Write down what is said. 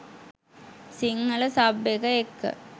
Sinhala sub එක එක්ක